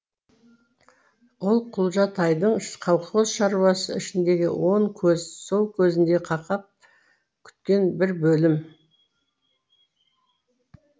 ол құлжатайдың колхоз шаруасы ішіндегі он көз сол көзіндей қақап күткен бір бөлімі